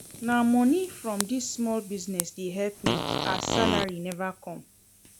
Na moni from dis small business dey help me as salary neva come.